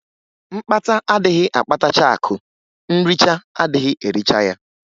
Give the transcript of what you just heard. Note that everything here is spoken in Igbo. Mkpata adịghị akpatacha akụ nricha adịghị ericha ya.